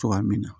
Cogoya min na